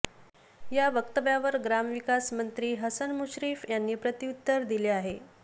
या वक्तव्यावर ग्रामविकास मंत्री हसन मुश्रीफ यांनी प्रत्युत्तर दिले आहे